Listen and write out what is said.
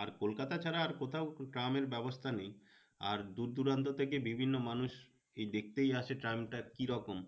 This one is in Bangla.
আর কলকাতা ছাড়া আর কোথাও ট্রামের ব্যবস্থা নেই। আর দূর দূরান্ত থেকে বিভিন্ন মানুষ এই দেখেই আসে ট্রামটা কি রকম